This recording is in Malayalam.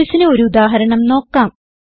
pointersന് ഉദാഹരണം നോക്കാം